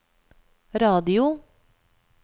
radio